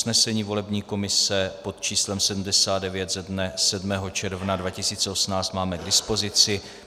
Usnesení volební komise pod číslem 79 ze dne 7. června 2018 máme k dispozici.